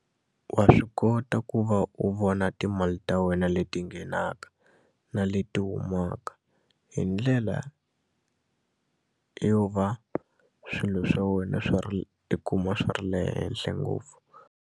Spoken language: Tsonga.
Wa swi kota ku va u vona timali ta wena leti nghenaka na leti humaka hi ndlela yo va swilo swa wena swa i kuma swi ri le henhla ngopfu.